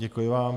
Děkuji vám.